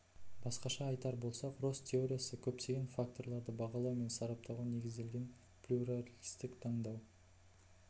басқаша айтар болсақ росс теориясы көптеген факторларды бағалау мен сараптауға негізделген плюралистік таңдау